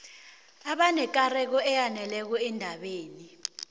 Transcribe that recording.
abanekareko eyaneleko endabeni